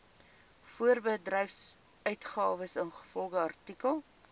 voorbedryfsuitgawes ingevolge artikel